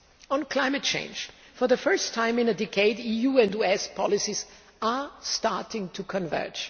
On climate change for the first time in a decade, EU and US policies are starting to converge.